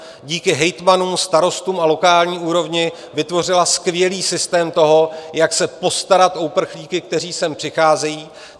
Díky hejtmanům, starostům a lokální úrovni vytvořila skvělý systém toho, jak se postarat o uprchlíky, kteří sem přicházejí.